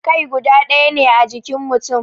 Kai guda daya ne a jikin mutum